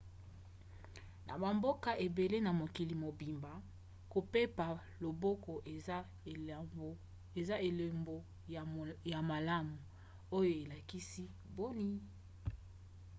na bamboka ebele na mokili mobimba kopepa loboko eza elombo ya malamu oyo elakisi boni.